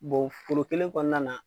foro kelen kɔnɔna na